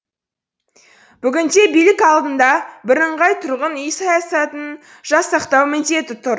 бүгінде билік алдында бірыңғай тұрғын үй саясатын жасақтау міндеті тұр